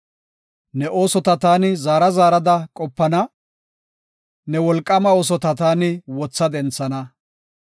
Ne oosota taani zaara zaarada qopana; ne wolqaama oosota taani wotha denthana.